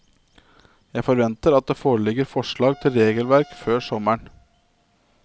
Jeg forventer at det foreligger forslag til regelverk før sommeren.